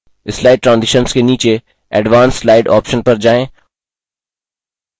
slide transitions के नीचे advance slide option पर जाएँ